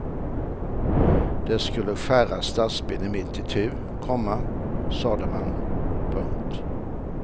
Den skulle skära stadsbilden mitt itu, komma sade man. punkt